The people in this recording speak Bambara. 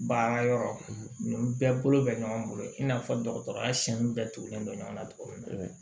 Baara yɔrɔ nin bɛɛ bolo bɛ ɲɔgɔn bolo i n'a fɔ dɔgɔtɔrɔya siyɛni bɛɛ tugulen don ɲɔgɔnna cogo min na